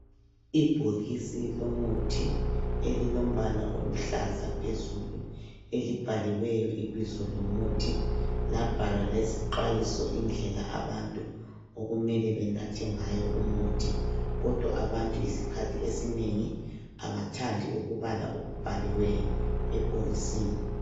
Ibhokisi lomuthi elilombala oluhlaza phezulu elibhaliweyo ibizo lomuthi labhalwa lezixwayiso indlela abantu okumele banathe ngayo umuthi kodwa abantu isikhathi esiningi abathandi ukubala okubhaliweyo ebhokisini